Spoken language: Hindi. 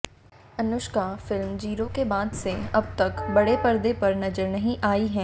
अनुष्का फिल्म जीरो के बाद से अब तक बड़े पर्दे पर नजर नहीं आई हैं